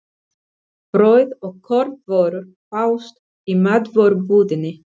Brauð og kornvörur fást í matvörubúðinni.